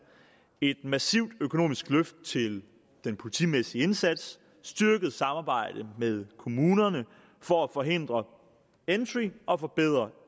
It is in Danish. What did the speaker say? et massivt økonomisk løft til den politimæssige indsats styrket samarbejde med kommunerne for at forhindre entry og forbedre